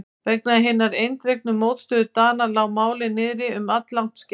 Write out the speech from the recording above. Vegna hinnar eindregnu mótstöðu Dana lá málið niðri um alllangt skeið.